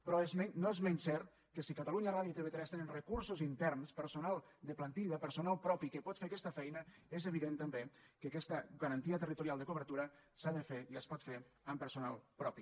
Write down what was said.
però no és menys cert que si catalunya ràdio i tv3 tenen recursos interns personal de plantilla personal propi que pot fer aquesta feina és evident també que aquesta garantia territorial de cobertura s’ha de fer i es pot fer amb personal propi